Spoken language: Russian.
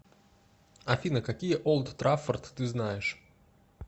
афина какие олд траффорд ты знаешь